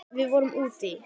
Við vorum úti í